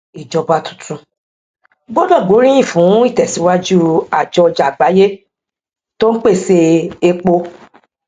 ìjọba tuntun gbọdọ gbé oríyìn fún ìtẹsíwájú àjọ ọjà àgbáyé tó n pèsè epo